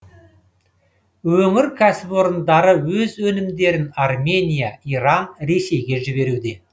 өңір кәсіпорындары өз өнімдерін армения иран ресейге жіберуде